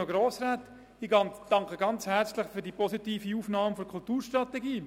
Ich danke Ihnen sehr herzlich für die positive Aufnahme der Kulturstrategie.